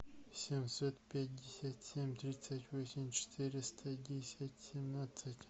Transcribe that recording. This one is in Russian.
семьсот пятьдесят семь тридцать восемь четыреста десять семнадцать